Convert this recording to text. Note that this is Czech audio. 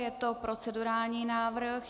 Je to procedurální návrh.